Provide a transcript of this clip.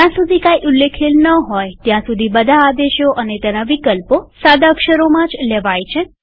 જ્યાં સુધી કઈ ઉલ્લેખેલ ન હોય ત્યાં સુધી બધા આદેશો અને તેના વિકલ્પો સાદા અક્ષરોમાં જ લેવાય છે